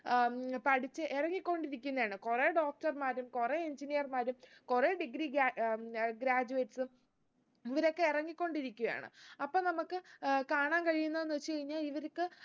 ഏർ ഉം പഠിച്ച് ഇറങ്ങി കൊണ്ടിരിക്കുന്നയാണ് കുറേ doctor മാരും കുറേ engineer മാരും കുറേ degree ഗേ ഏർ ഉം graduates ഉം ഇവരൊക്കെ ഇറങ്ങിക്കൊണ്ടിരിക്കുകയാണ് അപ്പൊ നമ്മക്ക് ഏർ കാണാൻ കഴിയുന്നാന്ന് വെച്ച് കഴിഞ്ഞാ ഇവര്ക്ക്